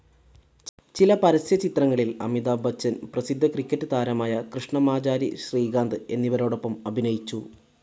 ചില പരസ്യ ചിത്രങ്ങളിൽ അമിതാഭ് ബച്ചൻ, പ്രസിദ്ധ ക്രിക്കറ്റ്‌ താരമായ കൃഷ്ണമാചാരി ശ്രീകാന്ത് എന്നിവരോടൊപ്പം അഭിനയിച്ചു.